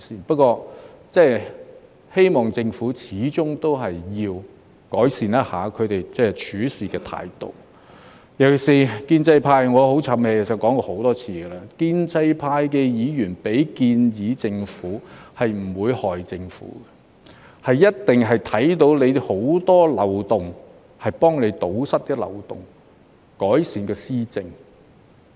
不過，我希望政府始終要改善一下處事態度，尤其是......建制派——我很"譖氣"，其實我已說過很多次——建制派的議員向政府提出建議，不會害政府，一定是因為看到很多漏洞，想幫政府堵塞漏洞，改善施政。